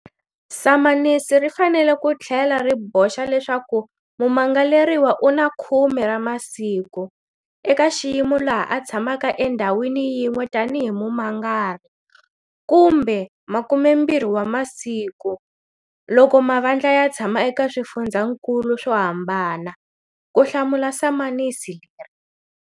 Samanisi ri fanele ku tlhela ri boxa leswaku mumangaleriwa u na 10 ra masiku, eka xiyimo laha a tshamaka endhawini yin'we tanihi mumangari, kumbe 20 wa masiku, loko mavandla ya tshama eka swifundzakulu swo hambana, ku hlamula samanisi leri.